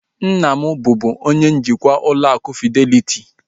Nna m bubu onye njikwa ụlọ akụ fideliti